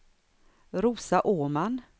Rosa Åman